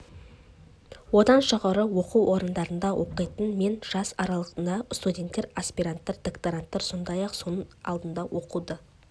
оған жоғары оқу орындарында оқитын мен жас аралығындағы студенттер аспиранттар докторанттар сондай-ақ соның алдында оқуды